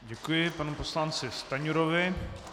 Děkuji panu poslanci Stanjurovi.